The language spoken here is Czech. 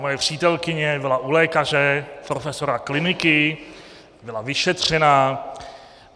Moje přítelkyně byla u lékaře, profesora kliniky, byla vyšetřena.